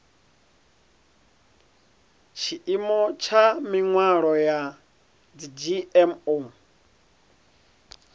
tshiimo tsha mihwalo ya dzgmo